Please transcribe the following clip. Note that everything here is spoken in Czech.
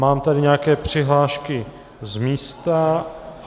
Mám tady nějaké přihlášky z místa.